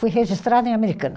Fui registrada em Americana.